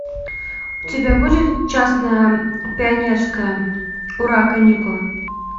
у тебя будет честное пионерское ура каникулы